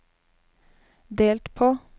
delt på